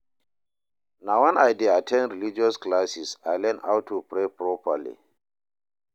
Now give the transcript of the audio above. Na wen I dey at ten d religious classes I learn how to pray properly.